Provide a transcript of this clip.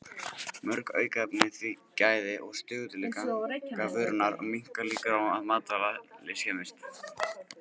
Mörg aukefni auka því gæði og stöðugleika vörunnar og minnka líkur á að matvæli skemmist.